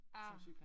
Ah